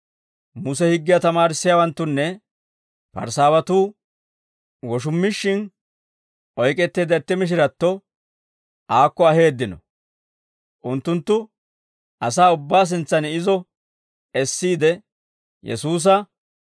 Muse higgiyaa tamaarissiyaawanttunne Parisaawatuu woshummishshin oyk'etteedda itti mishiratto aakko aheeddino. Unttunttu asaa ubbaa sintsan izo essiide Yesuusa,